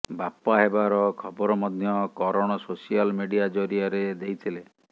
ବାପା ହେବାର ଖବର ମଧ୍ୟ କରଣ ସୋସିଆଲ ମିଡିଆ ଜରିଆରେ ଦେଇଥିଲେ